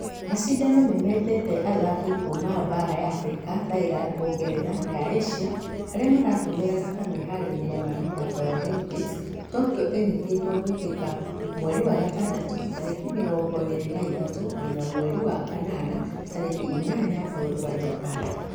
Mashidano nĩmetete athaki kuuma baara ya africa , tlyq ũngeretha na ya Asia arĩa maratũmerq ta meharĩria ma mĩthako ya olympics tokyo ĩtanyĩtwo gũĩkĩka mweri wa gagandatũ tarĩki mĩrongo ĩrĩ na ithatũ nginya mweri wa kanana tarĩki inyanya bũrũri wa japan.